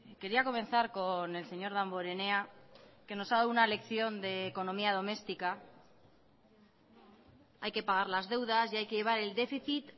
quería comenzar con el señor damborenea que nos ha dado una lección de economía doméstica hay que pagar las deudas y hay que llevar el déficit